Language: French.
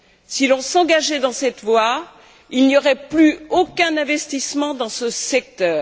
Si l'on s'engageait dans cette voie, il n'y aurait plus aucun investissement dans ce secteur.